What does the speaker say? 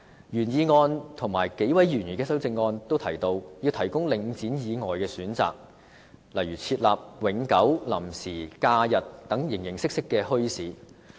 原議案和數位議員的修正案均提及要提供領展以外的選擇，例如設立永久、臨時、假日等形形色色的墟市。